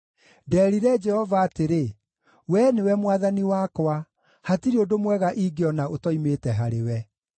Ndeerire Jehova atĩrĩ, “Wee nĩwe Mwathani wakwa; hatirĩ ũndũ mwega ingĩona ũtoimĩte harĩwe.”